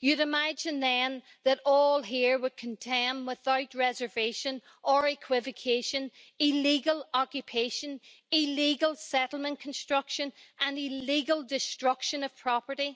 You would imagine, then, that all here would condemn without reservation or equivocation illegal occupation, illegal settlement construction and illegal destruction of property.